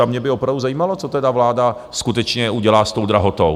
A mě by opravdu zajímalo, co tedy vláda skutečně udělá s tou drahotou?